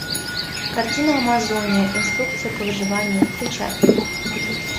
картина амазония инструкция по выживанию включай